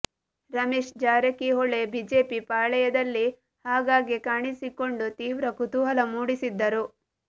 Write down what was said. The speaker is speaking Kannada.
ರಮೇಶ್ ಜಾರಕಿಹೊಳಿ ಬಿಜೆಪಿ ಪಾಳೆಯದಲ್ಲಿ ಆಗಾಗ್ಗೆ ಕಾಣಿಸಿಕೊಂಡು ತೀವ್ರ ಕುತೂಹಲ ಮೂಡಿಸಿದ್ದರು